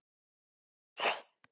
Myndi ekki njósnari haga sér svona?